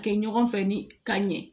Kɛ ɲɔgɔn fɛ ni ka ɲɛ